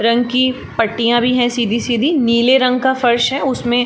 रंग की पटियां भी हैं सीधी-सीधी नीले रंग का फर्श है उसमें --